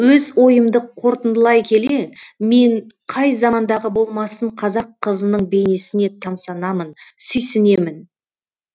өз ойымды қорытындылай келе мен қай замандағы болмасын қазақ қызының бейнесіне тамсанамын сүйсінемін